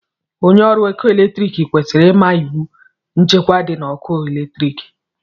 Onye ọrụ ọkụ eletrik kwesịrị ịma iwu nchekwa dị na ọkụ eletrik